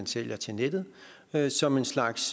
sælges til nettet nettet som en slags